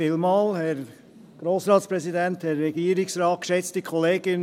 Vielen Dank für die sehr lebhafte Diskussion.